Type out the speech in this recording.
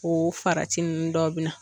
O farati ninnu dɔ bɛ na.